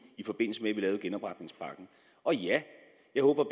i forbindelse med at vi lavede genopretningspakken og ja jeg håber